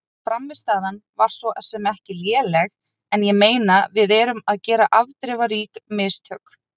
Frammistaðan var svo sem ekki léleg en ég meina við erum að gera afdrifarík mistök.